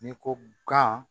N'i ko gan